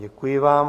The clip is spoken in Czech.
Děkuji vám.